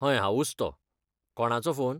हय, हांवूच तों. कोणाचो फोन?